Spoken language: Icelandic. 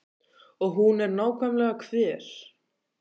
Og hún er nákvæmlega hver?